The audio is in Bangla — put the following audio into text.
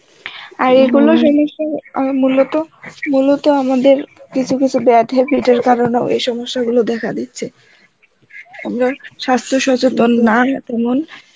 এ গুলো সমস্যা আ মূলত, মূলত আমাদের কিছু কিছু bad habit এর কারণ এ ও এই সমস্যা গুলো দেখা দিচ্ছে, সাস্থ্য সচেতন না তেমন